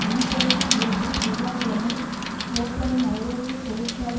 அன்ட்வேர்ப்பில் இருந்து செவ்வாய் கிழமை ஓப்பலின் ஐரோப்பிய தொழிற்சாலை